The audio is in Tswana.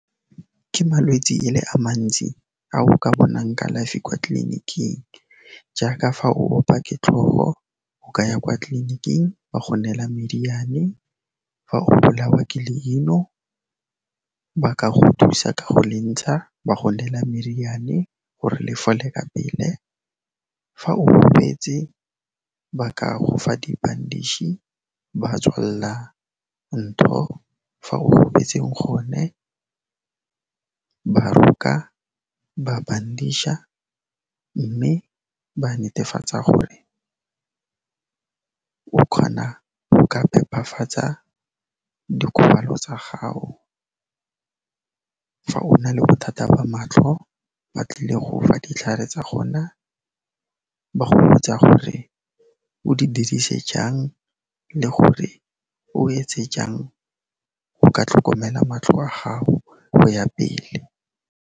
Ke malwetsi e le a mantsi a o ka bonang kalafi kwa tleliniking jaaka fa o opa ke tlhogo, o ka ya kwa tleliniking ba go neela meriane, fa o bolawa ke leino ba ka go thusa ka go le ntsha, ba go neela meriane gore le fole ka pele. Fa o gobetse ba ka go fa dibandiši, ba tswalla ntho fa o gobetseng gone, ba roka, ba bandiša, mme ba netefatsa gore o kgona go ka phepafatsa dikgobalo tsa gago. Fa o na le bothata ba matlho, ba tlile go fa ditlhare tsa gona, ba go botsa gore o di dirise jang le gore o etse jang go ka tlhokomela matlho a gago go ya pele.